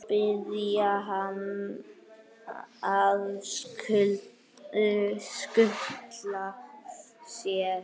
Biðja hann að skutla sér?